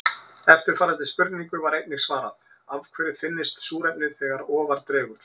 Eftirfarandi spurningu var einnig svarað: Af hverju þynnist súrefnið þegar ofar dregur?